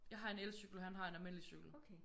Jeg har en elcykel han har en almindelig cykel